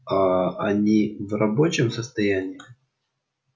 аа они в рабочем состоянии